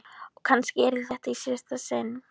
Og kannski yrði þetta í síðasta sinn.